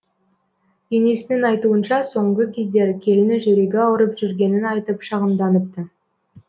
енесінің айтуынша соңғы кездері келіні жүрегі ауырып жүргенін айтып шағымданыпты